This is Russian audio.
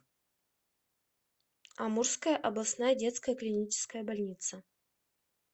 амурская областная детская клиническая больница